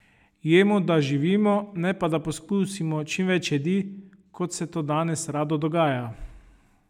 Jemo, da živimo, ne pa, da pokusimo čim več jedi, kot se to danes rado dogaja.